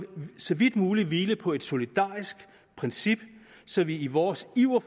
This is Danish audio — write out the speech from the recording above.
så vidt muligt hvile på et solidarisk princip så vi ikke i vores iver